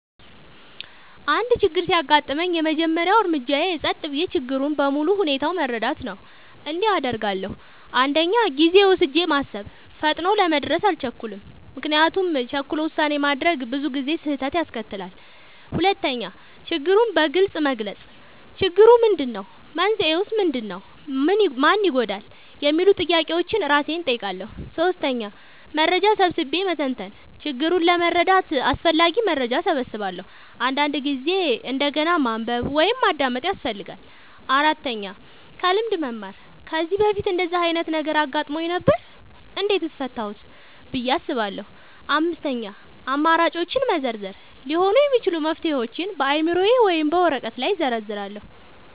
አንድ ችግር ሲያጋጥመኝ፣ የመጀመሪያው እርምጃዬ ጸጥ ብዬ ችግሩን በሙሉ ሁኔታው መረዳት ነው። እንዲህ አደርጋለሁ፦ 1. ጊዜ ወስጄ ማሰብ – ፈጥኖ ለመድረስ አልቸኩልም፤ ምክንያቱም ቸኩሎ ውሳኔ ማድረግ ብዙ ጊዜ ስህተት ያስከትላል። 2. ችግሩን በግልጽ መግለጽ – "ችግሩ ምንድነው? መንስኤው ምንድነው? ማን ይጎዳል?" የሚሉ ጥያቄዎችን እራሴን እጠይቃለሁ። 3. መረጃ ሰብስቤ መተንተን – ችግሩን ለመረዳት አስፈላጊ መረጃ እሰበስባለሁ፤ አንዳንድ ጊዜ እንደገና ማንበብ ወይም ማዳመጥ ያስፈልጋል። 4. ከልምድ መማር – "ከዚህ በፊት እንደዚህ ዓይነት ነገር አጋጥሞኝ ነበር? እንዴት ፈታሁት?" ብዬ አስባለሁ። 5. አማራጮችን መዘርዘር – ሊሆኑ የሚችሉ መፍትሄዎችን በአእምሮዬ ወይም በወረቀት ላይ እዘርዝራለሁ።